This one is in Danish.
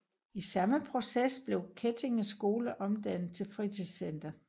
I samme proces blev Kettige Skole omdannet til fritidscenter